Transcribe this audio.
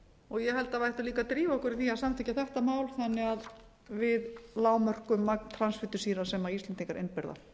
og ég held að við ættum líka að drífa okkur í því að samþykkja þetta mál þannig að við lágmörkum magn transfitusýra sem íslendingar innbyrða